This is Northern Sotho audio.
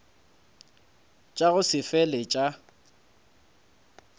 tša go se fele tša